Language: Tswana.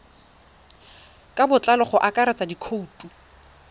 ka botlalo go akaretsa dikhoutu